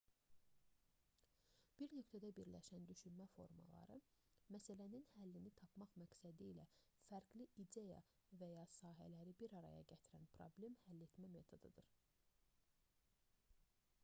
bir nöqtədə birləşən düşünmə formaları məsələnin həllini tapmaq məqsədilə fərqli ideya və ya sahələri bir araya gətirən problem həll etmə metodudur